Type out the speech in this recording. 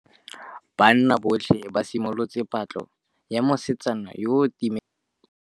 Banna botlhê ba simolotse patlô ya mosetsana yo o timetseng.